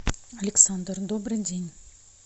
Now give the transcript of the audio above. александр добрый день